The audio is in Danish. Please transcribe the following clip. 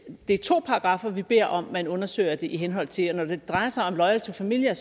er to paragraffer vi beder om at man undersøger det i henhold til og når det drejer sig om loyal to familia er